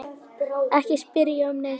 Ekki spyrja um neitt.